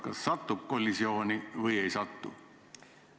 Kas satub kollisiooni või ei satu?